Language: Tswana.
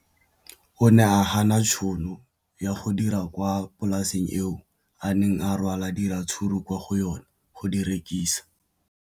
O ne a gana tšhono ya go dira kwa polaseng eo a neng rwala diratsuru kwa go yona go di rekisa.